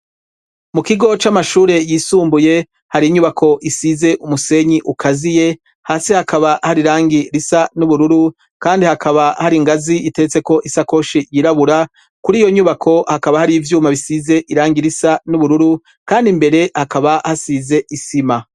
Mu kigo c'amashure yisumbuye hari inyubako isize umusenyi ukazi ye hasi hakaba hari irangi risa n'ubururu kandi hakaba hari ingazi itetse ko isakoshi yirabura kuri iyo nyubako hakaba hari ivyuma bisize irangi risa n'ubururu kandi imbere hakaba hasize isima.